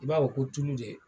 I b'a wɔ ko tulu de.